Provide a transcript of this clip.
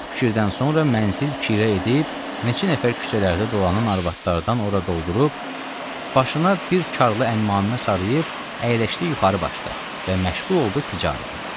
Çox fikirdən sonra mənzil kirə edib, neçə nəfər küçələrdə dolanan arvadlardan ora doldurub, başına bir karlı əmmamə sarıyıb, əyləşdi yuxarı başda və məşğul oldu ticarətə.